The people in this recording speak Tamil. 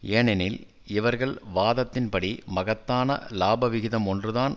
ஏனெனில் இவர்கள் வாதத்தின் படி மகத்தான இலாப விகிதம் ஒன்று தான்